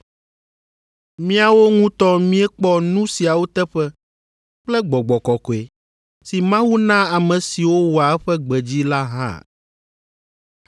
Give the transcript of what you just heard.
Míawo ŋutɔ míekpɔ nu siawo teƒe kple Gbɔgbɔ Kɔkɔe si Mawu naa ame siwo wɔa eƒe gbe dzi la hã.”